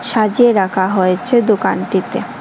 সাজিয়ে রাখা হয়েছে দোকানটিতে।